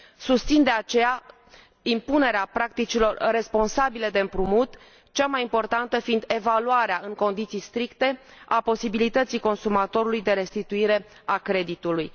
Susțin, de aceea, impunerea practicilor responsabile de împrumut, cea mai importantă fiind evaluarea în condiții stricte a posibilității consumatorului de restituire a creditului.